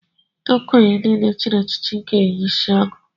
Ndị okenye niile chịrị echichi ga-eyi isiagu